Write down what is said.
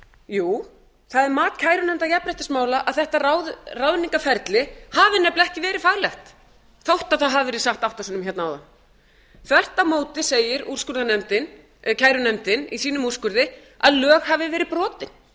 jú það er mat kærunefndar jafnréttismála að þetta ráðningarferli hafi nefnilega ekki verið faglegt þótt það hafi verið sagt átta sinnum hérna áðan þvert á móti segir kærunefndin í sínum úrskurði að lög hafi verið brotin